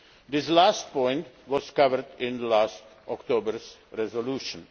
This last point was covered in last October's resolution.